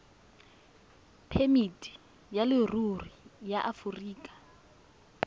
phemiti ya leruri ya aforika